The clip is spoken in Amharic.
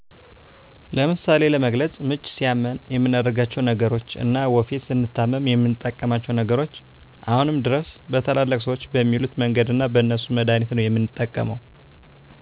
ለምሳሌ ለመግለፅ ምች ሲያም የምናደርጋቸው ነገሮች እና ወፌ ስንታመም የምንጠቀማቸው ነገሮች አሁንም ድረስ በታላላቅ ሰዎች በሚሉት መንገድ እና በእነሱ መድሀኒት ነው የምንጠቀመው